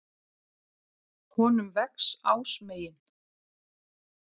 Honum vex ásmegin.